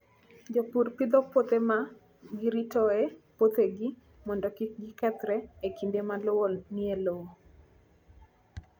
Jopur pidho puothe ma giritoe puothegi mondo kik gikethre e kinde ma lowo ok nie lowo.